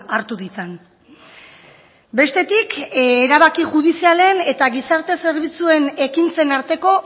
hartu ditzan bestetik erabaki judizialen eta gizarte zerbitzuen ekintzen arteko